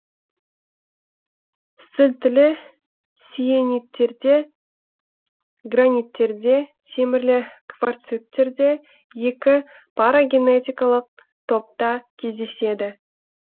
сілтілі сиениттерде граниттерде темірлі кварциттерде екі парагенетикалық топта кездеседі